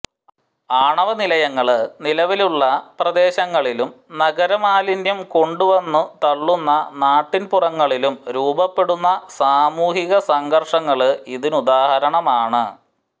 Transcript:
ആണവ നിലയങ്ങള് നിലവിലുള്ള പ്രദേശങ്ങളിലും നഗര മാലിന്യം കൊണ്ടുവന്ന് തള്ളുന്ന നാട്ടിന്പുറങ്ങളിലും രൂപപ്പെടുന്ന സാമൂഹിക സംഘര്ഷങ്ങള് ഇതിനുദാഹരണമാണ്